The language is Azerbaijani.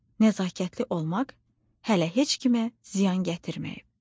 nəzakətli olmaq hələ heç kimə ziyan gətirməyib.